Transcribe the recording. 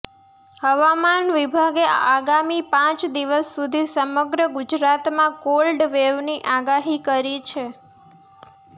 હવામાન વિભાગે આગામી પાંચ દિવસ સુધી સમગ્ર ગુજરાતમાં કોલ્ડ વેવની આગાહી કરી છે